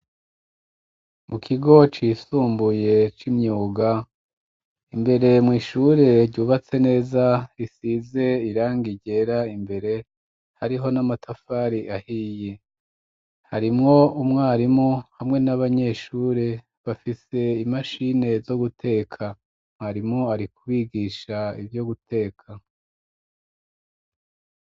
Mu kigo cisumbuye c'imyuga, imbere mw'ishure ryubatse neza risize irangi ryera imbere hariho n'amatafari ahiye, harimwo umwarimu hamwe n'abanyeshure bafise imashini zo guteka, mwarimu ari kubigisha ivyo guteka.